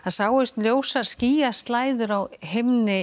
sáust ljósar skýjaslæður á himni